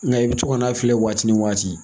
Nka i bɛ to ka n'a filɛ waati ni waati